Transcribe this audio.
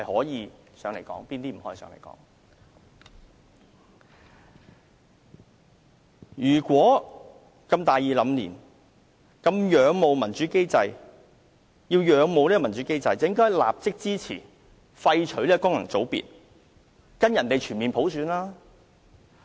如果他如此大義凜然、如此仰慕民主機制，便應立刻支持廢除功能界別，跟隨外國議會進行全面普選。